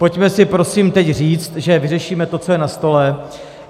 Pojďme si prosím teď říct, že vyřešíme to, co je na stole.